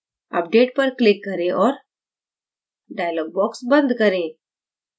update पर click करें और dialog box बंद करें